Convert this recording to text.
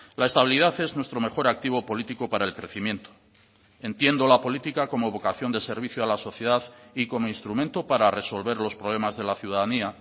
la estabilidad es nuestro mejor activo político para el crecimiento entiendo la política como vocación de servicio a la sociedad y como instrumento para resolver los problemas de la ciudadanía